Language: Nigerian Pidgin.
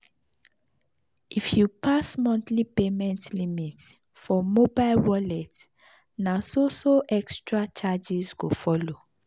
if you pass monthly payment limit for mobile wallet na so so extra charges go follow.